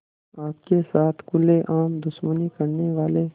आपके साथ खुलेआम दुश्मनी करने वाले